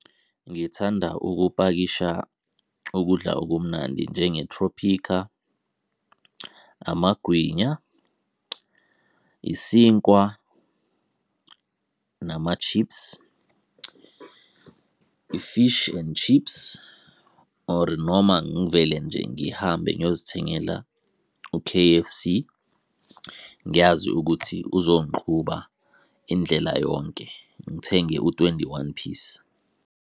Ngithanda ukupakisha ukudla okumnandi njengeTropika, amagwinya, isinkwa nama chips, i-fish and chips, or noma ngivele nje ngihambe ngiyozithengela u-K_F_C. Ngiyazi ukuthi uzongiqhuba indlela yonke, ngithenge u-twenty-one piece.